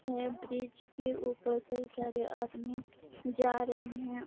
यह ब्रिज के ऊपर कई सारे आदमी जा रहे है ।